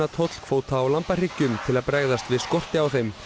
tollkvóta á lambahryggjum til að bregðast við skorti á þeim